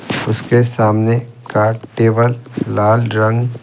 उसके सामने का टेबल लाल रंग--